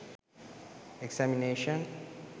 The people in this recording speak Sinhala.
examination